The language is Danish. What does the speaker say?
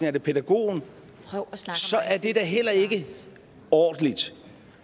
er pædagogen så er det da heller ikke ordentligt